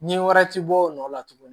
Ɲɛ wɛrɛ ti bɔ o nɔ la tuguni